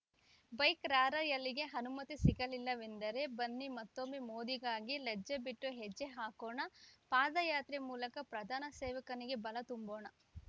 bike ರಾರ‍ಯಲಿಗೆ ಅನುಮತಿ ಸಿಗಲಿಲ್ಲವೆಂದರೆ ಬನ್ನಿ ಮತ್ತೊಮ್ಮೆ ಮೋದಿಗಾಗಿ ಲಜ್ಜೆ ಬಿಟ್ಟು ಹೆಜ್ಜೆ ಹಾಕೋಣ ಪಾದಯಾತ್ರೆ ಮೂಲಕ ಪ್ರಧಾನ ಸೇವಕನಿಗೆ ಬಲ ತುಂಬೋಣ